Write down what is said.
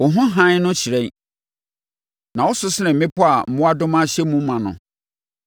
Wo ho hann no hyerɛn, na wo so sene mmepɔ a mmoadoma ahyɛ mu ma no.